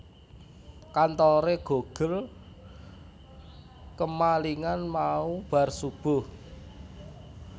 Kantore GoGirl kemalingan mau bar subuh